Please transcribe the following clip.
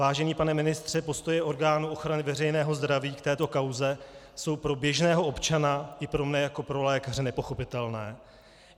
Vážený pane ministře, postoje orgánů ochrany veřejného zdraví k této kauze jsou pro běžného občana i pro mne jako pro lékaře nepochopitelné.